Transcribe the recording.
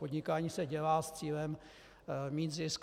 Podnikání se dělá s cílem mít zisk.